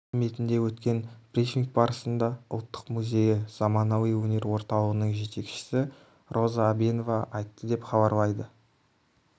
қызметінде өткен брифинг барысында ұлттық музейі заманауи өнер орталығының жетекшісі роза әбенова айтты деп хабарлайды